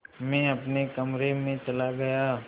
मैं अपने कमरे में चला गया